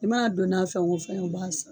I b'a dɔn n'a fɛn o fɛn ye u b'a san.